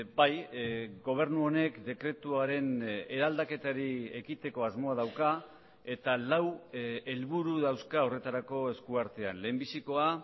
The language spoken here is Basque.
bai gobernu honek dekretuaren eraldaketari ekiteko asmoa dauka eta lau helburu dauzka horretarako esku artean lehenbizikoa